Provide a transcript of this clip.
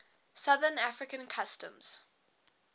southern african customs